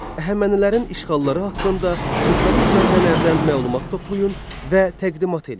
Əhəmənilərin işğalları haqqında müxtəlif mənbələrdən məlumat toplayın və təqdimat eləyin.